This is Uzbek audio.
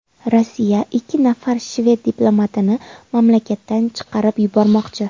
Rossiya ikki nafar shved diplomatini mamlakatdan chiqarib yubormoqchi.